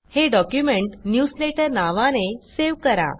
हे document newsletter नावाने save करा